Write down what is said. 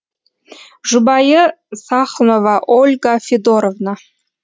жұбайы сахнова ольга федоровна